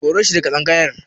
Kore shi daga tsangayar.